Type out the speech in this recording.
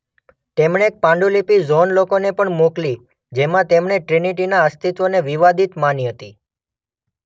તેમણે એક પાંડુલિપી જૉન લોકેને પણ મોકલી જેમાં તેમણે ટ્રિનિટીના અસ્તિત્વને વિવાદિત માની હતી